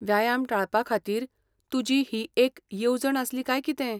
व्यायाम टाळपा खातीर तुजी ही एक येवजण आसली काय कितें?